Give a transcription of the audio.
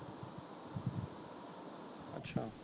ਅੱਛਾ।